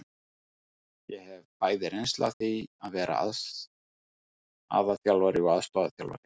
Ég hef bæði reynslu af því að vera aðalþjálfari og aðstoðarþjálfari.